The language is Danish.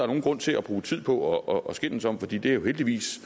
nogen grund til at bruge tid på at skændes om for det er jo heldigvis